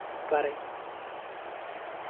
പറയി